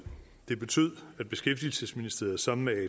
det betød at beskæftigelsesministeriet sammen med